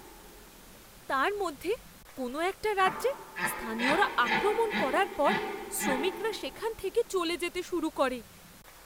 তার মধ্যে কোনও একটা রাজ্যে, স্থানীয়রা আক্রমণ করার পর শ্রমিকরা সেখান থেকে চলে যেতে শুরু করে।